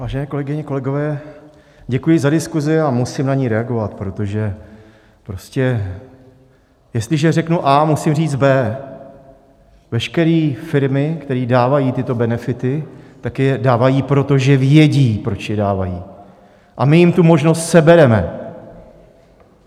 Vážené kolegyně, kolegové, děkuji za diskuzi a musím na ni reagovat, protože prostě jestliže řeknu A, musím říct B. Veškeré firmy, které dávají tyto benefity, tak je dávají proto, že vědí, proč je dávají, a my jim tu možnost sebereme.